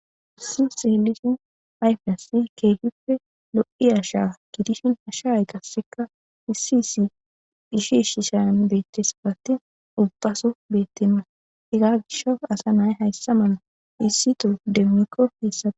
issi seelishin ayfiasi keehippe lo7i a sha gidishin hashaay qasseka issi issi ishishshishan bettesafati ubbaso beettnna ega gisha asa nay hayssa mala issi to demmikko heessaa